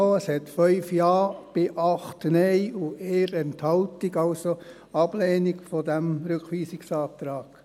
Es gab 5 Ja bei 8 Nein und 1 Enthaltung, also eine Ablehnung dieses Rückweisungsantrags.